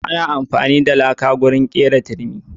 Ana amfani da laka wajen kera turmi.